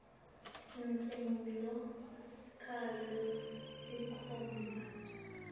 sicelo sakho senkhomba